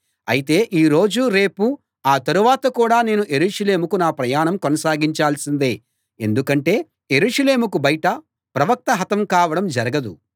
అయితే ఈ రోజూ రేపూ ఆ తరువాత కూడా నేను యెరూషలేముకు నా ప్రయాణం కొనసాగించాల్సిందే ఎందుకంటే యెరూషలేముకు బయట ప్రవక్త హతం కావడం జరగదు